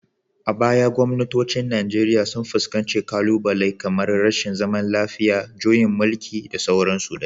A baya gwamnatocin Najeriya sun fuskanci ƙalubale kamar rashin zaman lafiya, juyin mulki, da dai sauransu.